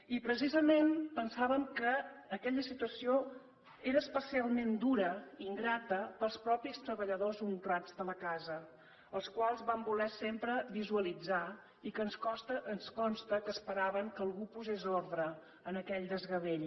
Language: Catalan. i precisament pensàvem que aquella situació era especialment dura ingrata per als mateixos treballadors honrats de la casa als quals vam voler sempre visualitzar i que ens consta que esperaven que algú posés ordre a aquell desgavell